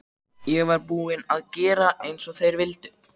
Ég var búin að gera eins og þeir vildu.